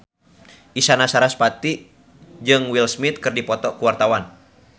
Isyana Sarasvati jeung Will Smith keur dipoto ku wartawan